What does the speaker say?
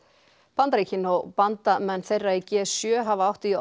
Bandaríkin og bandamenn þeirra í g sjö hafa átt í